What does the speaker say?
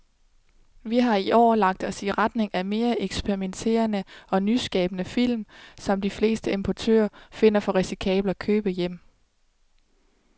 Vi har i år lagt os i retning af mere eksperimenterede og nyskabende film, som de fleste importører finder for risikable at købe hjem.